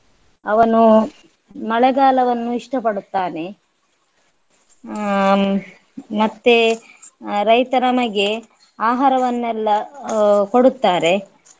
ಅವನು ಮಳೆಗಾಲವನ್ನು ಇಷ್ಟ ಪಡುತ್ತಾನೆ ಹ್ಮ್ ಮತ್ತೆ ರೈತ ನಮಗೆ ಆಹಾರವನ್ನೆಲ್ಲ ಆಹ್ ಕೊಡುತ್ತಾರೆ.